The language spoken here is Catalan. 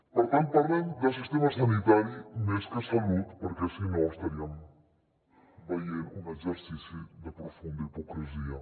per tant parlem de sistema sanitari més que salut perquè si no estaríem veient un exercici de profunda hipocresia